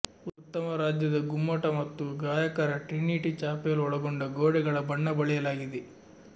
ಉತ್ತಮ ರಾಜ್ಯದ ಗುಮ್ಮಟ ಮತ್ತು ಗಾಯಕರ ಟ್ರಿನಿಟಿ ಚಾಪೆಲ್ ಒಳಗೊಂಡ ಗೋಡೆಗಳ ಬಣ್ಣ ಬಳಿಯಲಾಗಿದೆ